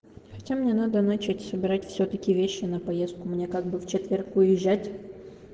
хотя мне надо начать собирать всё-таки вещи на поездку мне как бы в четверг уезжать